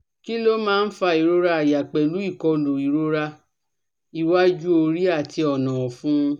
Kí ló máa ń fa ìrora àyà pelu ikolu irora iwaju ori ati ona ọfun?